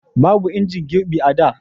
babu injin girbi a da